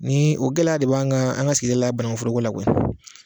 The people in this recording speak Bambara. Nin, o gɛlɛya de b'an kan, an ka sigida la yan, banangu foro k'o la koyi